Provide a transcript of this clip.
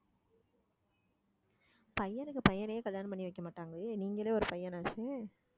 பையனுக்கு பையனையே கல்யாணம் பண்ணி வைக்க மாட்டாங்களே நீங்களே ஒரு பையனாச்சே